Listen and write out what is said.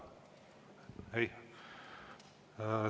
Ei?